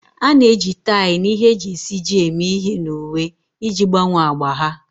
A na-eji tie na ihe e ji esiji eme ihe na uwe iji gbanwee agba ha.